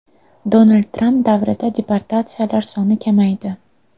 Donald Tramp davrida deportatsiyalar soni kamaydi.